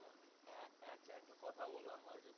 হ্যাঁ হ্যাঁ একটা কথা বল আমায়